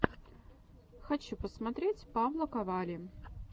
хочу посмотреть паблоковалли